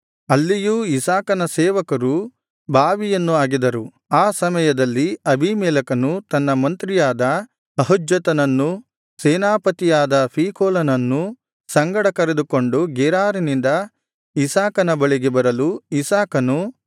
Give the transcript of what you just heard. ಅಲ್ಲಿಯೂ ಇಸಾಕನ ಸೇವಕರು ಬಾವಿಯನ್ನು ಅಗೆದರು ಆ ಸಮಯದಲ್ಲಿ ಅಬೀಮೆಲೆಕನು ತನ್ನ ಮಂತ್ರಿಯಾದ ಅಹುಜ್ಜತನನ್ನೂ ಸೇನಾಪತಿಯಾದ ಫೀಕೋಲನನ್ನೂ ಸಂಗಡ ಕರೆದುಕೊಂಡು ಗೆರಾರಿನಿಂದ ಇಸಾಕನ ಬಳಿಗೆ ಬರಲು ಇಸಾಕನು